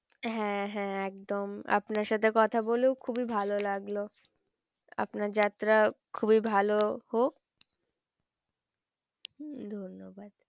হ্যাঁ হ্যাঁ একদম আপনার সাথে কথা বলেও খুবই ভালো লাগলো আপনার যাত্রা খুবই ভালো হোক উম ধন্যবাদ।